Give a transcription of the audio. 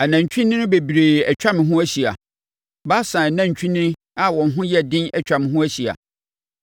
Anantwinini bebree atwa me ho ahyia; Basan anantwinini a wɔn ho yɛ den atwa me ho ahyia.